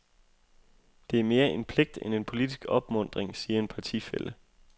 Det er mere en pligt end en politisk opmuntring, siger en partifælle.